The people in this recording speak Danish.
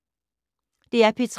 DR P3